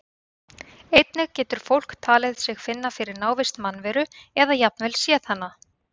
Einnig getur fólk talið sig finna fyrir návist mannveru eða jafnvel séð hana.